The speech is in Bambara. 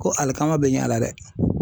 Ko alikaman bɛ ɲ'a la dɛ .